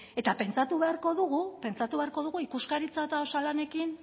eta pentsatu beharko dugu ikuskaritza eta osalanekin